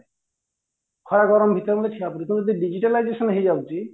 ଖରା ଗରମ ଭିତରେ ମଧ୍ୟ ଠିଆ ହବାକୁ ପଡୁଚି କିନ୍ତୁ ଯେତେବେଳେ digitalization ହେଇଯାଉଛି